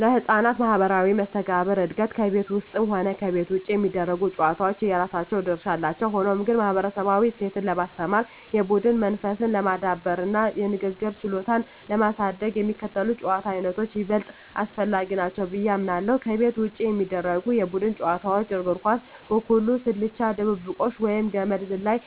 ለሕፃናት ማኅበራዊ መስተጋብር እድገት ከቤት ውስጥም ሆነ ከቤት ውጭ የሚደረጉ ጨዋታዎች የራሳቸው ድርሻ አላቸው። ሆኖም ግን፣ ማኅበረሰባዊ እሴትን ለማስተማር፣ የቡድን መንፈስን ለማዳበርና የንግግር ችሎታን ለማሳደግ የሚከተሉት የጨዋታ ዓይነቶች ይበልጥ አስፈላጊ ናቸው ብዬ አምናለሁ፦ ከቤት ውጭ የሚደረጉ የቡድን ጨዋታዎች እግር ኳስ፣ ኩኩሉ፣ ስልቻ ድብብቆሽ፣ ወይም ገመድ ዝላይ።